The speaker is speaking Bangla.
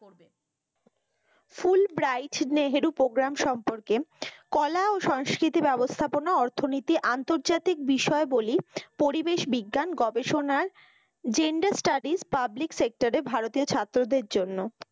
ফুলব্রাইট নেহেরু প্রোগ্রাম সম্পর্কে কলা ও সংস্কৃতি ব্যবস্থাপনা অর্থনীতি আন্তর্জাতিক বিষয়বলী পরিবেশ বিজ্ঞান গবেষণার gender studies public sector এ ভারতীয় ছাত্রদের জন্য,